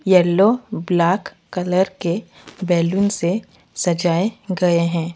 Yellow black colour के balloon से सजाए गए है।